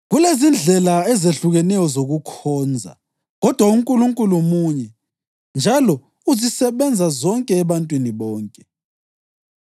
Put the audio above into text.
Kulezindlela ezehlukeneyo zokukhonza kodwa uNkulunkulu munye njalo uzisebenza zonke ebantwini bonke.